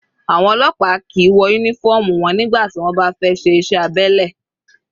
Àwọn ọlọ́pàá kìí wọ uniform wọn nígbà tí wọ́n bá fẹ́ ṣe iṣẹ́ abẹ́lẹ̀.